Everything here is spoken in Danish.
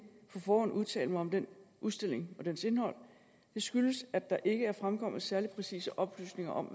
på forhånd udtale mig om den udstilling og dens indhold det skyldes at der ikke er fremkommet særlig præcise oplysninger om